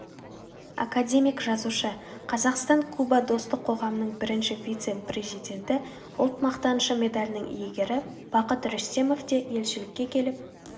академик жазушы қазақстан-куба достық қоғамының бірінші вице-президенті ұлт мақтанышы медалінің иегері бақыт рүстемов те елшілікке келіп